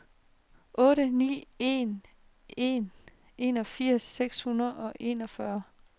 otte ni en en enogfirs seks hundrede og enogfyrre